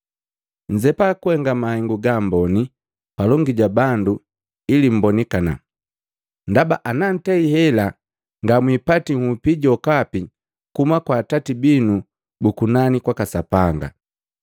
“Nnzepa kuhenga mahengu gaamboni palongi ja bandu ili mbonikana. Ndaba anantei hela ngamwiipati nhupi jokapi kuhuma kwa Atati binu bu kunani kwaka Sapanga.